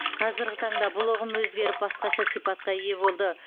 қазіргі таңда бұл ұғым өзгеріп басқаша сипатқа ие болды